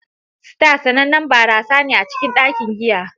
Star sanannen barasa ne a cikin dakin giya.